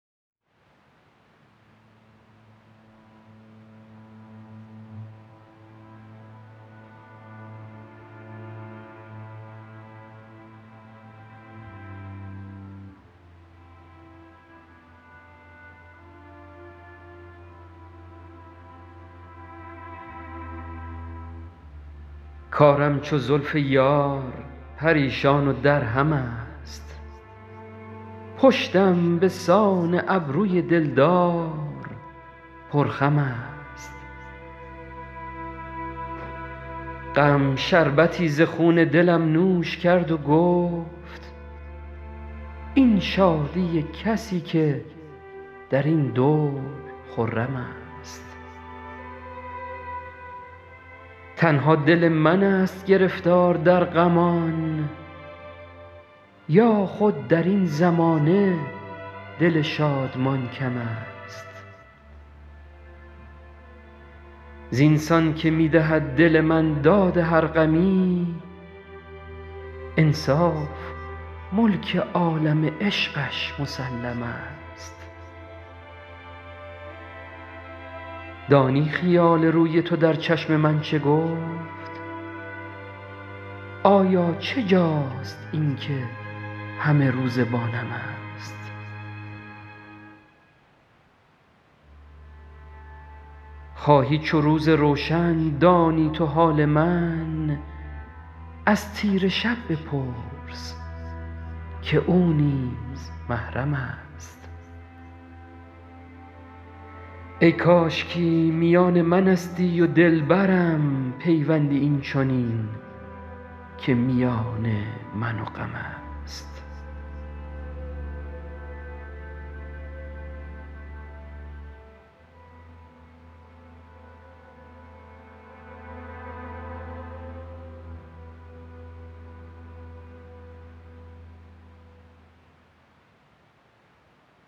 کارم چو زلف یار پریشان و درهم است پشتم به سان ابروی دل دار پرخم است غم شربتی ز خون دلم نوش کرد و گفت این شادی کسی که در این دور خرم است تنها دل من ست گرفتار در غمان یا خود در این زمانه دل شادمان کم است زین سان که می دهد دل من داد هر غمی انصاف ملک عالم عشقش مسلم است دانی خیال روی تو در چشم من چه گفت آیا چه جاست این که همه روزه با نم است خواهی چو روز روشن دانی تو حال من از تیره شب بپرس که او نیز محرم است ای کاشکی میان من استی و دل برم پیوندی این چنین که میان من و غم است